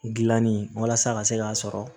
Gilanni walasa a ka se k'a sɔrɔ